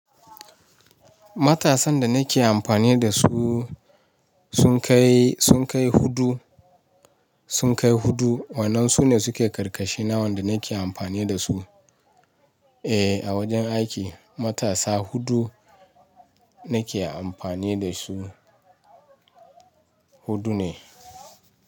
Matasan da nake amfani da su sun kai, sun kai hudu, sun kai hudu. Wannan su ne suke karkashi na wanda nake amfani da su. Eh, a wajen aiki matasa hudu nake amfani da su. Hudu ne.